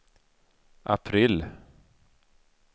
april